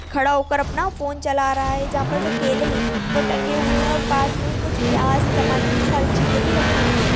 खड़ा होकर अपना फोन चला रहा है यहाँ पर जो केले ठगे हुए है पास में कुछ टमाटर प्याज सारी चीज भी रखी हुई है।